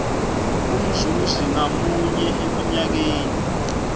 umzuzi ngamunye eminyakeni